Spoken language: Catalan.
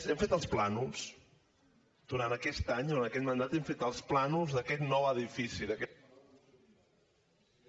hem fet els plànols durant aquest any durant aquest mandat hem fet els plànols d’aquest nou edifici d’aquest